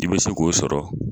I bɛ se k'o sɔrɔ